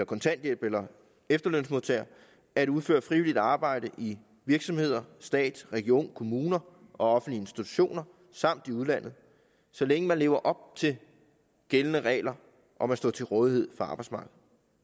kontanthjælp eller efterløn at udføre frivilligt arbejde i virksomheder stat regioner kommuner og offentlige institutioner samt i udlandet så længe man lever op til gældende regler om at stå til rådighed for arbejdsmarkedet